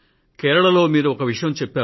కేరళలో మీరు ఒక విషయం చెప్పారు